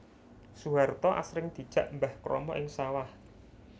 Soeharto asring dijak Mbah Kromo ing sawah